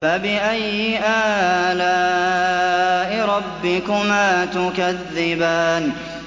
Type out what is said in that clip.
فَبِأَيِّ آلَاءِ رَبِّكُمَا تُكَذِّبَانِ